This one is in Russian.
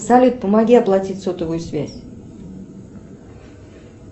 салют помоги оплатить сотовую связь